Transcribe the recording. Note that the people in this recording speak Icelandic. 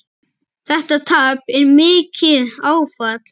Þetta tap er mikið áfall.